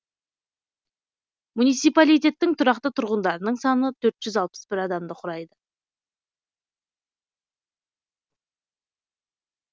муниципалитеттің тұрақты тұрғындарының саны төрт жүз алпыс бір адамды құрайды